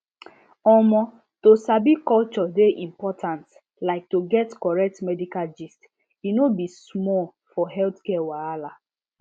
omo to sabi culture dey important like to get correct medical gist e no be small for healthcare wahala